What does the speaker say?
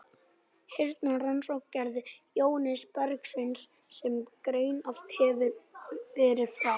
Hina rannsóknina gerði Jóhannes Bergsveinsson, sem greint hefur verið frá.